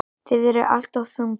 Þið eruð alltof þungir.